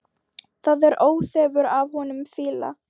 Það er óþefur af honum fýla!